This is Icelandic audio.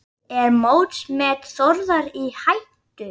Er mótsmet Þórðar í hættu?